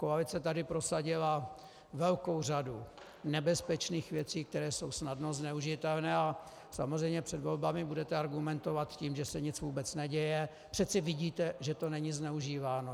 Koalice tady prosadila velkou řadu nebezpečných věcí, které jsou snadno zneužitelné, a samozřejmě před volbami budete argumentovat tím, že se vůbec nic neděje, přece vidíte, že to není zneužíváno.